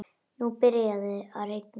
Nú byrjaði að rigna.